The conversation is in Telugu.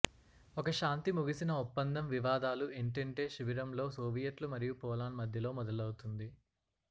ఒక శాంతి ముగిసిన ఒప్పందం వివాదాలు ఎంటెంటే శిబిరంలో సోవియట్లు మరియు పోలాండ్ మధ్యలో మొదలవుతుంది